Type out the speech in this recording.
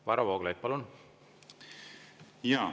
Varro Vooglaid, palun!